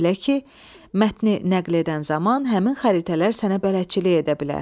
Belə ki, mətni nəql edən zaman həmin xəritələr sənə bələdçilik edə bilər.